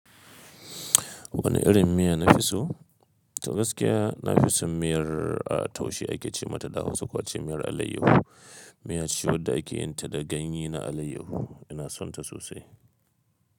Wani irin miya na fi so? Da gaskiya na fi son miyar taushe ake ce mata, ko ace miyar alayyahu. Miya ce wadda ake yin ta da ganye na alayyahu. Ina son ta sosai.